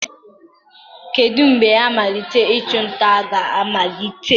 Kedu mgbe mmalite ịchụ nta ga-amalite?